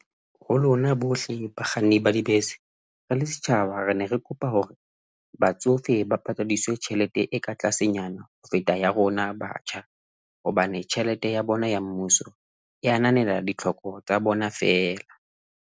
Ho lona bohle bakganni ba dibese. Re le setjhaba re ne re kopa hore batsofe ba patadiswe tjhelete e ka tlasenyana ho feta ya rona batjha, hobane tjhelete ya bona ya mmuso e ananela ditlhoko tsa bona feela.